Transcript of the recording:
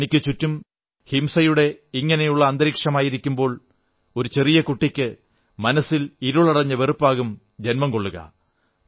തനിക്കും ചുറ്റും ഹിംസയുടെ ഇങ്ങനെയുള്ള അന്തരീക്ഷമായിരിക്കുമ്പോൾ ഒരു ചെറിയ കുട്ടിക്ക് മനസ്സിൽ ഇരുളടഞ്ഞ വെറുപ്പാകും ജന്മം കൊള്ളുക